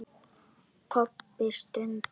Kobbi stundi.